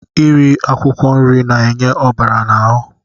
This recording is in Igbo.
Iri akwụkwọ nri na-enye ọbara n'ahụ.